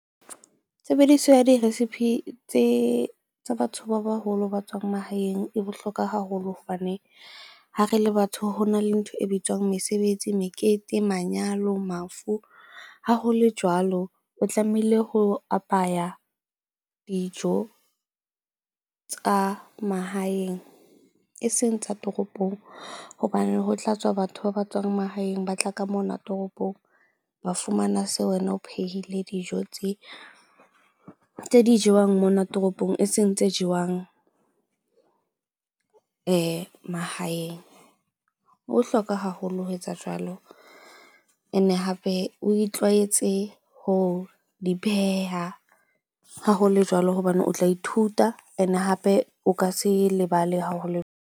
Tshebediso ya di-recipe tse tsa batho ba baholo ba tswang mahaeng e bohlokwa haholo hobane ha re le batho hona le ntho e bitswang mesebetsi, mekete, manyalo mafu. Ha ho le jwalo, o tlamehile ho apaya dijo tsa mahaeng eseng tsa toropong hobane ho tla tswa batho ba ba tswang mahaeng ba tla ka mona toropong, ba fumana seo wena o phehile dijo tse di jewang mona toropong eseng tse jewang mahaeng. O hloka haholo ho etsa jwalo, ene hape o itlwaetse ho di pheha. Ha ho le jwalo hobane o tla ithuta, and-e hape o ka se lebale ha ho le .